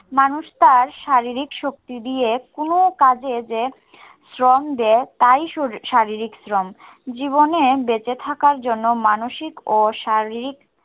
মানুষ তার শারীরিক শক্তি দিয়ে কোনো কাজে যে শ্রম দেয়, তাই শরীর শারীরিক শ্রম। জীবনে বেঁচে থাকার জন্য মানসিক ও শারীরিক